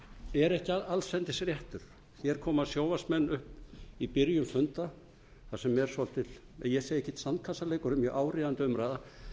er ekki allsendis réttur hér koma sjónvarpsmenn upp í byrjun funda þar sem er svolítill ég segi ekki sandkassaleikur en mjög áríðandi umræða